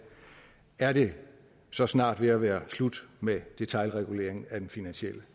er det så snart ved at være slut med detailregulering af den finansielle